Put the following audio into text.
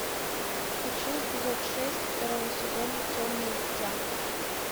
хочу эпизод шесть второго сезона темное дитя